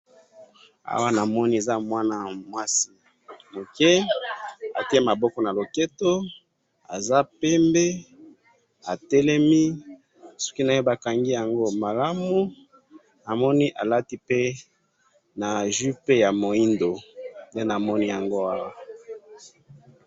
awa namoni eza mwana mwasi muke atiye loboko na lopeto aza pembe atelemi ,suki naye bakangi yango malamu namoni alati pe jupe ya mwindu nde namoni awa